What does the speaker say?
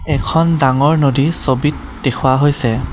এখন ডাঙৰ নদী ছবিত দেখুওৱা হৈছে।